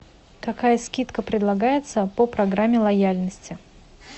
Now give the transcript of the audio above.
какая скидка предлагается по программе лояльности